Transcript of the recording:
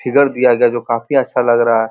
Figure दिया गया है जो काफी अच्छा लग रहा है।